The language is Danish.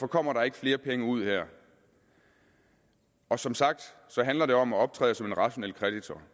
kommer der ikke flere penge ud her og som sagt handler det om at optræde som en rationel kreditor